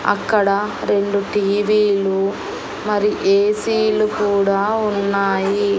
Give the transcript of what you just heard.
అక్కడ రెండు టీ_వీలు మరి ఏ_సీలు కూడా ఉన్నాయి.